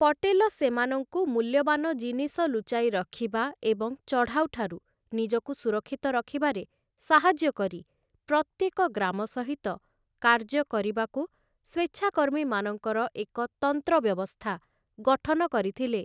ପଟେଲ ସେମାନଙ୍କୁ ମୂଲ୍ୟବାନ ଜିନିଷ ଲୁଚାଇ ରଖିବା ଏବଂ ଚଢ଼ାଉ ଠାରୁ ନିଜକୁ ସୁରକ୍ଷିତ ରଖିବାରେ ସାହାଯ୍ୟ କରି ପ୍ରତ୍ୟେକ ଗ୍ରାମ ସହିତ କାର୍ଯ୍ୟ କରିବାକୁ ସ୍ୱେଚ୍ଛାକର୍ମୀମାନଙ୍କର ଏକ ତନ୍ତ୍ର ବ୍ୟବସ୍ଥା ଗଠନ କରିଥିଲେ ।